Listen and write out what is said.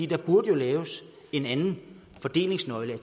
der burde jo laves en anden fordelingsnøgle